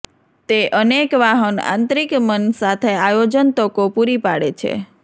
તે અનેક વાહન આંતરિક મન સાથે આયોજન તકો પૂરી પાડે છે